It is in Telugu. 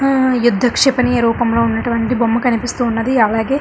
ఆ యుద్ధ క్షిపణి రూపం లో ఉన్నటువంటి బొమ్మ కనిపిస్తు ఉన్నది అలాగే--